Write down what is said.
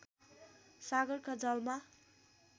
सागरका जलमा